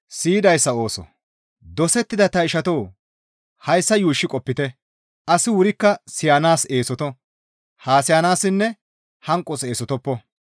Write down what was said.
Dosettida ta ishatoo! Hayssa yuushshi qopite; asi wurikka siyanaas eesoto; haasayassinne hanqos eesotoppo.